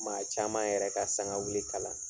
Maa caman yɛrɛ ka sangawili kala